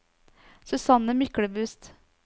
Susanne Myklebust